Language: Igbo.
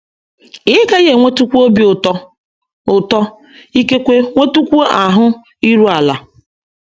Ị́ gaghị enwetụkwu obi ụtọ, ụtọ, ikekwe nwetụkwuo ahụ iru ala?